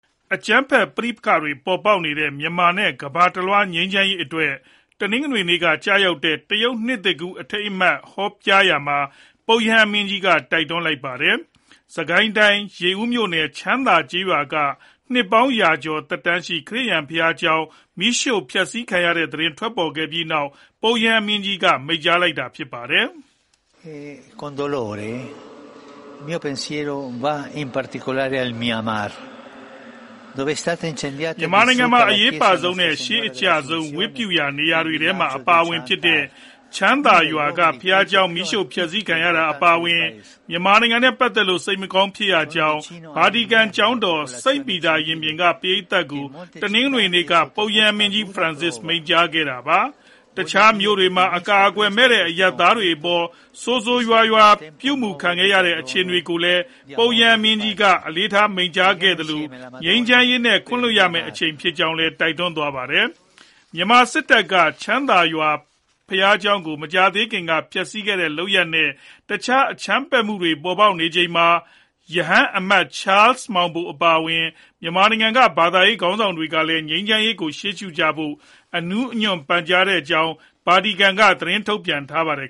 အကြမ်းဖက် ပဋိပက္ခတွေ ပေါ်ပေါက်နေတဲ့ မြန်မာနဲ့ ကမ္ဘာတလွှား ငြိမ်းချမ်းရေးအတွက် တနင်္ဂနွေနေ့က ကျရောက်တဲ့ တရုတ်နှစ်သစ်ကူး အထိမ်းအမှတ် ဟောကြားရာမှာ ပုပ်ရဟန်းမင်းကြီးက တိုက်တွန်းလိုက်ပါတယ်။ စစ်ကိုင်းတိုင်း၊ ရေဦးမြို့နယ်၊ ချမ်းသာကျေးရွာက နှစ်ပေါင်းရာကျော် ခရစ်ယာန်ဘုရားကျောင်း မီးရှို့ဖျက်ဆီးခံရတဲ့ သတင်းထွက်ပေါ်ခဲ့ပြီးနောက်မှာ ပုပ်ရဟန်းမင်းကြီး မိန့်ကြားလိုက်တာလည်း ဖြစ်ပါတယ်။ မြန်မာနိုင်ငံမှာ အရေးအပါဆုံးနဲ့ ရှေးအကျဆုံး ဝတ်ပြုရာနေရာတွေထဲမှာ အပါအဝင်ဖြစ်တဲ့ ချမ်းသာရွာက ဘုရားကျောင်း မီးရှို့ဖျက်ဆီးခံရတာ အပါအဝင် မြန်မာနိုင်ငံနဲ့ ပတ်သက်လို့ စိတ်မကောင်းဖြစ်ရကြောင်း ဗာတီကန်ကျောင်းတော် စိန့်ပီတာရင်ပြင်က ပရိတ်သတ်ကို တနင်္ဂနွေနေ့က ပုပ်ရဟန်းမင်းကြီး Francis မိန့်ကြားခဲ့တာပါ။ တခြားမြို့တွေမှာ အကာအကွယ်မဲ့တဲ့ အရပ်သားတွေအပေါ် ဆိုးဆိုးရွားရွား ပြုုမူခံနေရတဲ့ အခြေအနေတွေကိုလည်း ပုပ်ရဟန်းမင်းကြီးက အလေးထား မိန့်ကြားခဲ့သလို၊ ငြိမ်းချမ်းရေးနဲ့ ခွင့်လွှတ်ရမယ့် အချိန်ဖြစ်ကြောင်းလည်း တိုက်တွန်းသွားပါတယ်။ မြန်မာစစ်တပ်က ချမ်းသာရွာ ဘုရားကျောင်းကို မကြာသေးခင်က ဖျက်ဆီးခဲ့တဲ့ လုပ်ရပ်နဲ့ တခြားအကြမ်းဖက်မှုတွေ ပေါ်ပေါက်နေချိန်မှာ ရဟန်းအမတ် ချားလ်စ်မောင်ဘို အပါအဝင် မြန်မာနိုင်ငံက ဘာသာရေး ခေါင်းဆောင်တွေကလည်း ငြိမ်းချမ်းရေးကို ရှေ့ရှုကြဖို့ အနူးအညွတ်ပန်ကြားနေတဲ့အကြောင်း ဗာတီကန်က သတင်းထုတ်ပြန်ထားပါတယ်